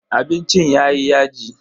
Abincin yayi yaji.